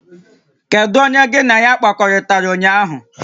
Kedu onye ka gị na ya kpakọrịtara ụnyaahụ?